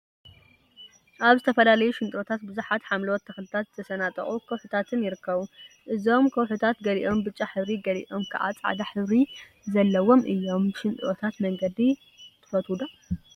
አብ ዝተፈላዩ ሽንጥሮታት ቡዙሓት ሓምለዎተ ተክሊታትን ዝተሰናጠቁ ከውሒታትን ይርከቡ፡፡ እዞም ከውሒታት ገሊኦም ብጫ ሕብሪ ገሊኦም ከዓ ፃዕዳ ሕብሪ ዘለዎም እዮም፡፡ ብሽንጥሮታት መንገዲ ትፈትው ዶ?